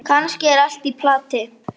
Kannski er allt í plati.